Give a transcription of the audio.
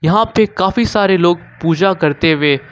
यहां पे काफी सारे लोग पूजा करते हुए--